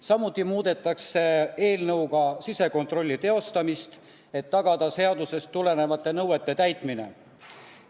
Samuti muudetakse eelnõuga sisekontrolli teostamise korda, et tagada seadusest tulenevate nõuete täitmine.